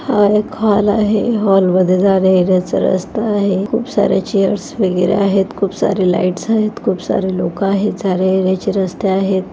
हा एक हॉल आहे हॉल मध्ये जाण्या येण्याचा रस्ता आहे खूप सारे चेयर्स वगैरे आहेत खूप सारे लाइटस आहेत खूप सारे लोक आहेत जाणे येण्याचे रस्ते आहेत.